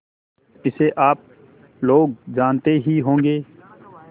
इसे आप लोग जानते ही होंगे